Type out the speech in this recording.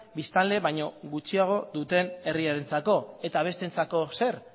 biztanle baino gutxiago duten herrientzako eta besteentzako zer